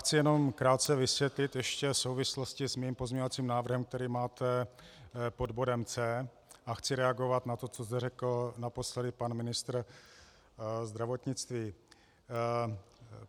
Chci jenom krátce vysvětlit ještě souvislosti s mým pozměňovacím návrhem, který máte pod bodem C, a chci reagovat na to, co zde řekl naposledy pan ministr zdravotnictví.